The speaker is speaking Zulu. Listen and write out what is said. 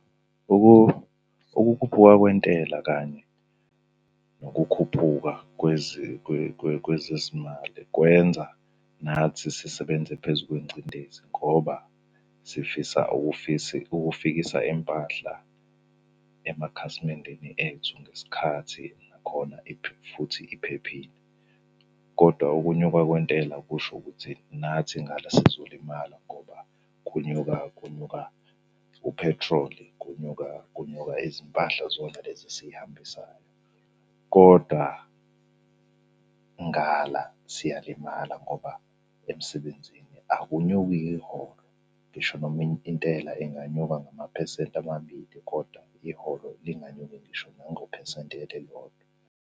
Ukukhuphuka kwentela kanye nokukhuphuka kwezezimali kwenza nathi sisebenze phezu kwengcindezi ngoba sifisa ukufikisa impahla emakhasimendeni ethu ngesikhathi, nakhona futhi iphephile, koda ukunyuka kwentela kusho ukuthi nathi ngala sizolimala ngoba kunyuka kunyuka uphethroli. Kunyuka kunyuka izimpahla zona lezi esihambisayo, koda ngala siyalimala ngoba emsebenzini akunyuki iholo. Ngisho noma intela inganyuka ngamaphesenti amabili koda iholo linganyuki ngisho nangophesenti elilodwa.